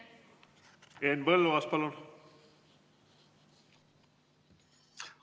Henn Põlluaas, palun!